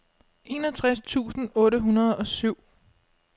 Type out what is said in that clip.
enogtres tusind otte hundrede og syv